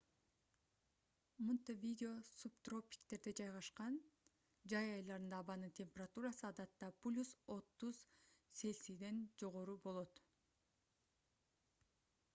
монтевидео субтропиктерде жайгашкан; жай айларында абанын температурасы адатта + 30°c жогору болот